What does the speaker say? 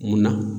Mun na